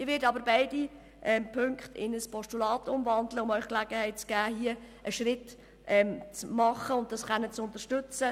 Ich werde aber beide Ziffern in ein Postulat umwandeln, um Ihnen die Gelegenheit zu geben, hier einen Schritt vorwärts zu machen und den Vorstoss zu unterstützen.